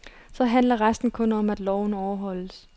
Så handler resten kun om, at loven overholdes.